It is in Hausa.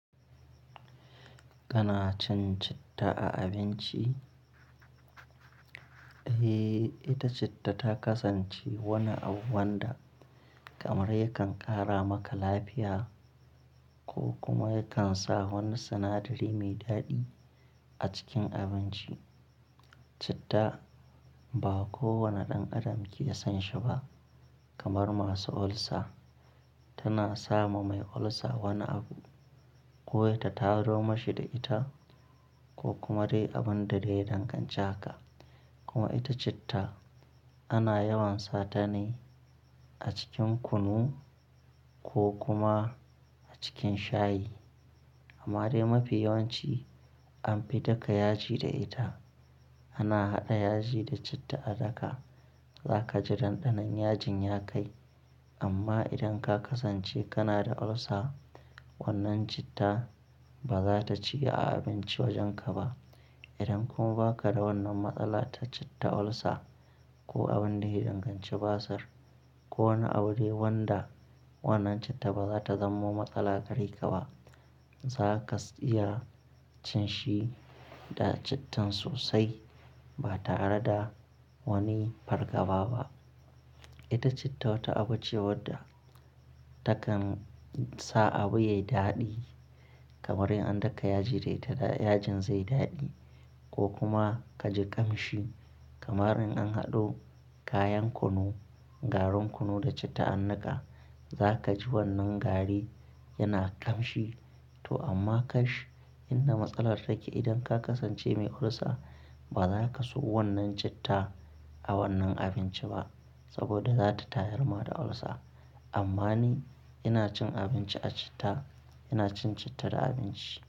Kana cin citta a abinci? Eh, ita citta ta kasance wani abu wanda kamar yakan ƙara maka lafiya ko kuma yakan sa wani sinadari mai daɗi a cikin abinci. Citta ba kowane ɗan adam ke son shi ba kamar masu ulcer. Tana sa ma mai ulcer wani abu ko ya ta taro mashi da ita ko kuma dai abun da dai ya danganci haka. Kuma ita citta ana yawan sa ta ne a cikin kunu ko kuma a cikin shayi. Amma dai mafi yawanci an fi daka yaji da ita. Ana haɗa yaji da citta a daka. Za ka ji dandanon yajin ya kai. Amma idan ka kasance kana da ulcer, wannan citta ba za ta ciye a abinci wajenka ba. Idan kuma ba ka da wannan matsala ta citta ulcer ko abun da ya danganci basir ko wani abu dai wanda wannan citta ba za ta zamo matsala gare ka ba, za ka iya cin shi da cittan sosai ba tare da wani fargaba ba. Ita citta wata abu ce wadda takan sa abu ya yi daɗi kamar in an daka yaji da ita, yajin zai yi daɗi ko kuma ka ji ƙamshi kamar in an haɗo kayan kunu, garin kunu da citta an daka, za ka ji wannan gari yana ƙamshi to amma kai shi in na matsalar take. Idan ka kasance mai ulcer, ba za ka so wannan citta a wannan abinci ba saboda za ta tayarma da ulcer. Amma ni ina cin abinci a citta, ina cin citta da abinci.